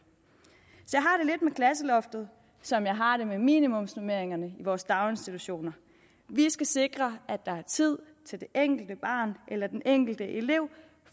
klasseloftet som jeg har det med minimumsnormeringerne i vores daginstitutioner vi skal sikre at der er tid til det enkelte barn eller den enkelte elev